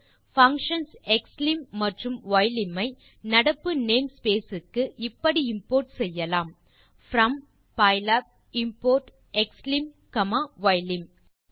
functions xlim மற்றும் ylim cஐ நடப்பு name ஸ்பேஸ் க்கு இப்படி இம்போர்ட் செய்யலாம் from pylab import xlim comma ylim